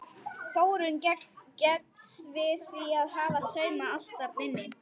Þórunn gengst við því að hafa saumað allt þarna inni.